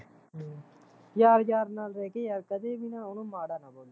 ਯਾਰ ਯਾਰ ਨਾਲ਼ ਰਹਿਕੇ ਯਾਰ ਕਦੇ ਵੀ ਨਾ ਉਹਨੂੰ ਮਾੜਾ ਨਾ ਬੋਲੋ